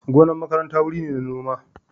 Gonar makaranta wuri ne na noma.